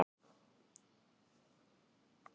Tekur við af föður sínum